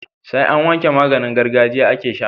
Sai an wanke maganin gargajiya ake sha